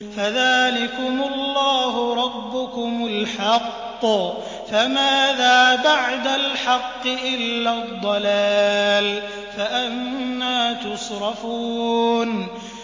فَذَٰلِكُمُ اللَّهُ رَبُّكُمُ الْحَقُّ ۖ فَمَاذَا بَعْدَ الْحَقِّ إِلَّا الضَّلَالُ ۖ فَأَنَّىٰ تُصْرَفُونَ